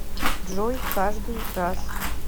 джой каждый раз